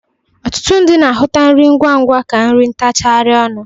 Ọtụtụ ndị na-ahụta nri ngwangwa ka nri ntachagarị ọnụ.